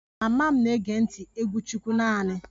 Mama m na-ege ntị egwu chukwu naanị